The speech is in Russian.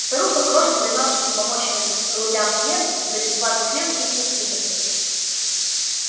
старуха крошит замёрзшим помоечным голубям хлеб и за бесплатный хлеб их воспитывает